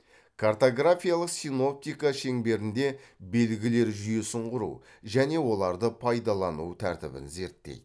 картографиялық синоптика шеңберінде белгілер жүйесін құру және оларды пайдалану тәртібін зерттейді